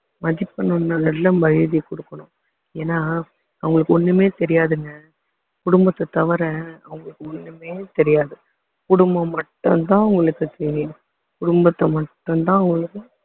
மதிக்கணும்னா நல்ல மரியாதையா கொடுக்கணும் ஏன்னா அவங்களுக்கு ஒண்ணுமே தெரியாதுங்க குடும்பத்த தவிர அவங்களுக்கு ஒண்ணுமே தெரியாது குடும்பம் மட்டும்தான் அவங்களுக்கு தெரியும் குடும்பத்த மட்டும்தான் அவங்களுக்கு